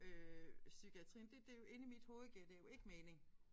Øh psykiatrien det det jo inde i mit hoved giver det jo ikke mening